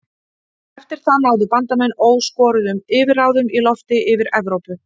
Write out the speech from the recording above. Eftir það náðu Bandamenn óskoruðum yfirráðum í lofti yfir Evrópu.